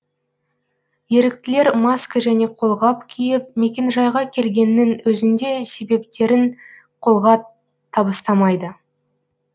еріктілер маска және қолғап киіп мекенжайға келгеннің өзінде себептерін қолға табыстамайды